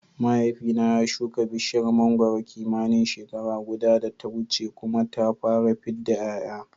Mahaifina ya shuka bishiyar mangwaro kimanin shekara guda da ta wuce kuma ta fara fidda ƴaƴa